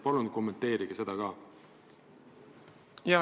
Palun kommenteerige seda ka!